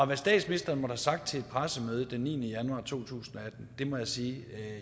hvad statsministeren måtte have sagt til et pressemøde den niende januar to tusind og atten må jeg sige at